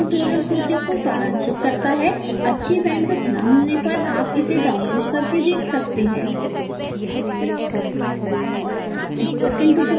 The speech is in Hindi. यह spoken tutorial project को सारांशित करता है अच्छी bandwidth न मिलने पर आप इसे download करके देख सकते हैं